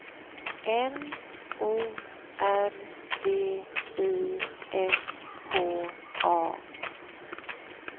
N O R D I S K A